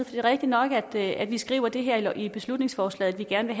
det er rigtig nok at vi skriver det her i beslutningsforslaget at vi gerne